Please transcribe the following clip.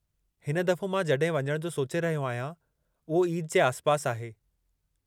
हिन दफ़ो मां जॾहिं वञणु जो सोचे रहियो आहियां, उहो ईद जे आसिपासि आहे।